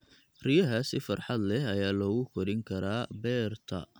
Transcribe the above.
Riyaha si farxad leh ayaa loogu korin karaa beerta.